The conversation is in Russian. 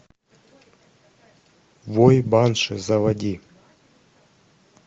вой банши заводи